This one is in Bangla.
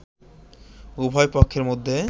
উভয় পক্ষের মধ্যে